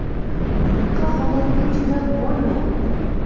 Bunaqa holatga chidab bo‘lmayapti.